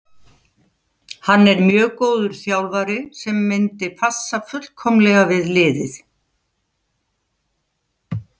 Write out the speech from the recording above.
Hann er mjög góður þjálfari sem myndi passa fullkomlega við liðið.